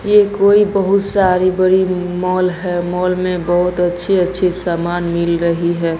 ये कोई बहुत सारी बड़ी मॉल है मॉल में बहुत अच्छी अच्छी समान मिल रही है।